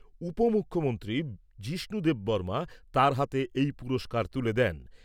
উপমুখ্যমন্ত্রী যিষ্ণু দেববর্মা তার হাতে এই পুরস্কার তুলে দেন।